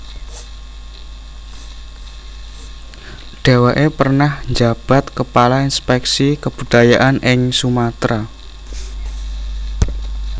Deweke pernah njabat kepala Inspeksi Kebudayaan ing Sumatera